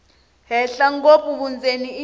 henhla ngopfu vundzeni i